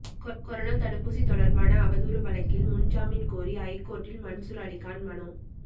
corona தடுப்பூசி தொடர்பான அவதூறு வழக்கில் முன்ஜாமின் கோரி ஐகோர்ட்டில் மன்சூர் அலிகான் மனு